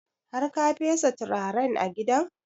Har ka fesa turaren a gidan?